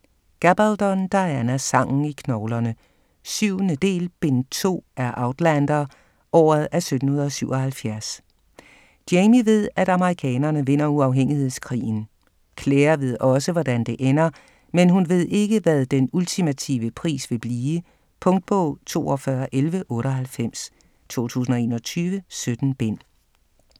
Gabaldon, Diana: Sangen i knoglerne 7. del, bind 2 af Outlander. Året er 1777. Jamie ved at amerikanerne vinder uafhængighedskrigen. Claire ved også, hvordan det ender, men hun ved ikke hvad den ultimative pris vil blive. Punktbog 421198 2021. 17 bind.